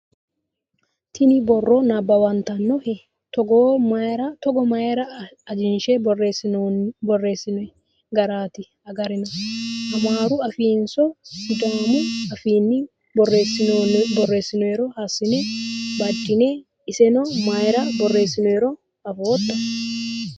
Tini borro nabbawantannohe? Togo mayiira ajinshe borreessinoyi garaati agarina? Ammaru afiinninso sidaamu afiinni borreessinoyiiro hiissine banddanni? Iseno mayiira borreessinoniro afootto?